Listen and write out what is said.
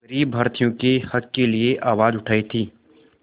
ग़रीब भारतीयों के हक़ के लिए आवाज़ उठाई थी